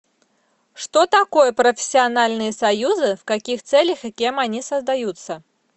что такое профессиональные союзы в каких целях и кем они создаются